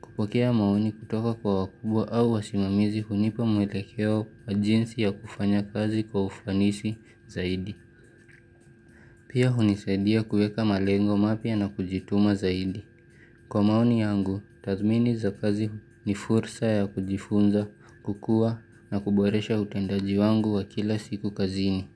Kupokea maoni kutoka kwa wakubwa au wasimamizi hunipa mwelekeo wa jinsi ya kufanya kazi kwa ufanisi zaidi. Pia unisaidia kueka malengo mapya na kujituma zaidi. Kwa maoni yangu, tathmini za kazi ni fursa ya kujifunza, kukua na kuboresha utandaji wangu wa kila siku kazini.